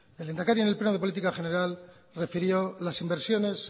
el lehendakari en el pleno de política general refirió las inversiones